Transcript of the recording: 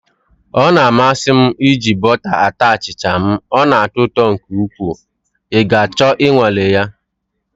Ọ na-amasị m iji bọta ata achịcha m, ọ na-atọ ụtọ nke ukwuu na ị ga achọ ịnwale ya